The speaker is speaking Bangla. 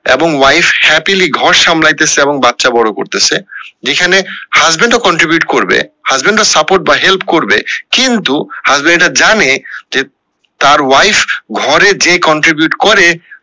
এবং wife happily ঘর সামলাইতেসে এবং বাচ্চা বড়ো করতেসে যেখানে husband ও contribute করবে husband রা support বা help করবে কিন্তু husband রা জানে যে তার wife ঘরে যে contribute করে